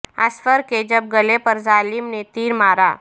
اصغر کے جب گلے پر ظالم نے تیر مارا